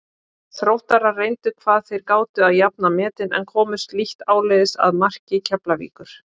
Þróttarar reyndu hvað þeir gátu að jafna metin en komust lítt áleiðis að marki Keflavíkur.